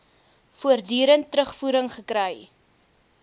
voortdurend terugvoering gekry